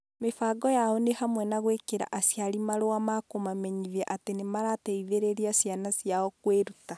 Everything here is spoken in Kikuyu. Mĩbango yao nĩ hamwe na gwĩkĩra aciari marũa ma kũmamenyithia atĩ nĩ marateithĩrĩria ciana ciao kwĩruta.